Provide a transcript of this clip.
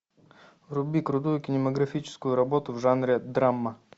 вруби крутую кинематографическую работу в жанре драма